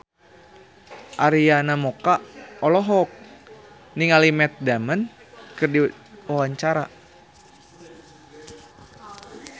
Arina Mocca olohok ningali Matt Damon keur diwawancara